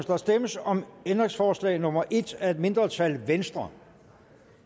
der stemmes om ændringsforslag nummer en af et mindretal